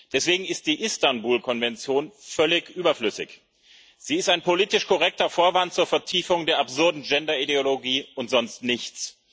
Deswegen ist die Istanbul Konvention völlig überflüssig. Sie ist ein politisch korrekter Vorwand zur Vertiefung der absurden Gender Ideologie und sonst nichts.